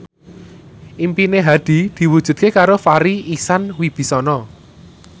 impine Hadi diwujudke karo Farri Icksan Wibisana